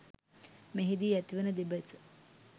මෙහිදී ඇතිවන දෙබස